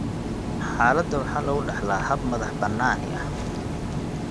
Xaaladda waxaa lagu dhaxlaa hab madax-bannaani ah.